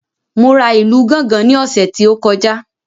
Mo ra ìlù gángan ní ọ̀sẹ̀ tí ó kọjá